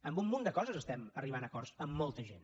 en un munt de coses estem arribant a acords amb molta gent